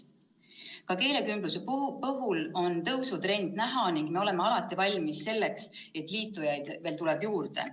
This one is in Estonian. Ka keelekümbluse puhul on tõusutrendi näha ning me oleme alati valmis selleks, et liitujaid tuleb juurde.